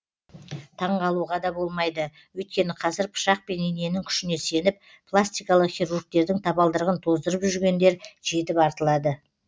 таңғалуға да болмайды өйткені қазір пышақ пен иненің күшіне сеніп пластикалық хирургтердің табалдырығын тоздырып жүргендер жетіп артылады